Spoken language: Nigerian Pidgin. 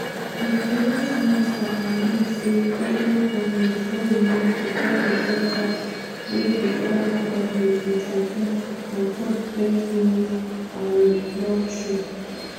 di finance minister announce say goment goment don remove di ten percent tax wey di former goment introduce on top bet winnings and lottery.